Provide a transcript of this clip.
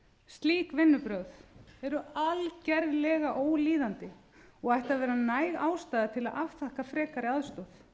slík vinnubrögð eru algerlega ólíðandi og ættu að vera næg ástæða til að afþakka frekari aðstoð